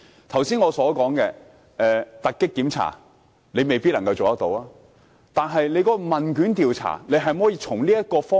剛才我所說的突擊檢查，當局未必做得到，但是否能在問卷調查這方面多做一點？